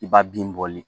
I b'a bin bɔli